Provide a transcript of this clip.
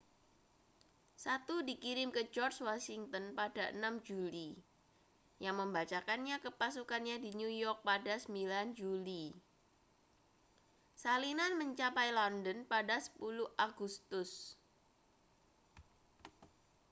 satu dikirim ke george washington pada 6 juli yang membacakannya ke pasukannya di new york pada 9 juli salinan mencapai london pada 10 agustus